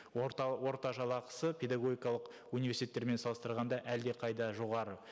орта жалақысы педагогикалық университеттермен салыстырғанда әлдеқайда жоғары